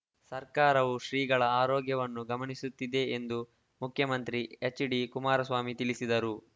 ಸರ್ಕಾರವೂ ಶ್ರೀಗಳ ಆರೋಗ್ಯವನ್ನು ಗಮನಿಸುತ್ತಿದೆ ಎಂದು ಮುಖ್ಯಮಂತ್ರಿ ಎಚ್‌ಡಿಕುಮಾರಸ್ವಾಮಿ ತಿಳಿಸಿದರು